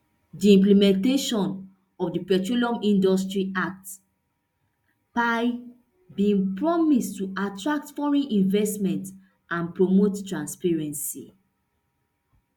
di implementation of di petroleum industry act pia bin promise to attract foreign investment and promote transparency